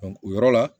o yɔrɔ la